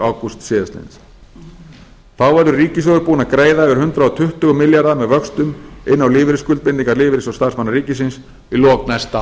ágúst síðastliðinn þá verður ríkissjóður búinn að greiða yfir hundrað tuttugu milljarða með vöxtum inn á lífeyrisskuldbindingar lífeyrissjóða starfsmanna ríkisins í lok næsta